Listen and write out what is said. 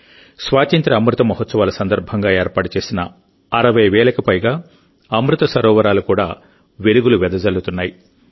స్వాతంత్ర్య అమృత మహోత్సవాలసందర్భంగా ఏర్పాటు చేసిన 60 వేలకు పైగా అమృత సరోవరాలు కూడా వెలుగులు వెదజల్లుతున్నాయి